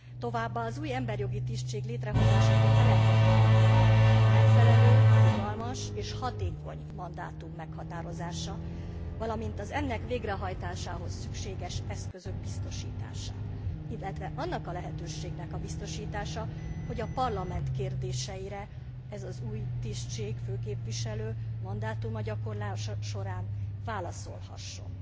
Továbbá az új emberjogi tisztség létrehozásakor elengedhetetlen a megfelelő, rugalmas és hatékony mandátum meghatározása, valamint az ennek végrehajtásához szükséges eszközök biztosítása, illetve annak a lehetőségnek a biztosítása, hogy a Parlament kérdéseire ez az új tisztség, főképviselő mandátuma gyakorlása során válaszolhasson.